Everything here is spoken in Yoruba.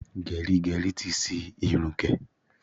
Gẹrígẹrí ti ṣi irun gẹ̀.